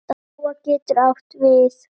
Lóa getur átt við